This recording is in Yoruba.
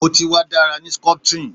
Mo ti wa ni dara ni sculpturing